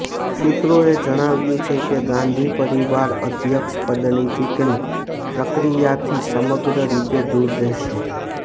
સૂત્રોએ જણાવ્યું છે કે ગાંધી પરિવાર અધ્યક્ષ પદની ચૂંટણી પ્રક્રિયાથી સમગ્ર રીતે દૂર રહેશે